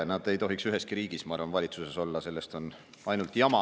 Ma arvan, et nad ei tohiks üheski riigis valitsuses olla, sellest on ainult jama.